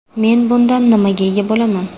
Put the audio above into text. Men bundan nimaga ega bo‘laman?